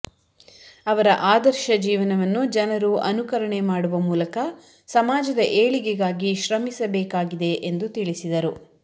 ಅವರ ಆದರ್ಶ ಜೀವನವನ್ನು ಜನರು ಅನುಕರಣೆ ಮಾಡುವ ಮೂಲಕ ಸಮಾಜದ ಏಳಿಗೆಗಾಗಿ ಶ್ರಮಿಸಬೇಕಾಗಿದೆ ಎಂದು ತಿಳಿಸಿದರು